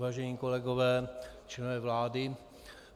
Vážení kolegové, členové vlády.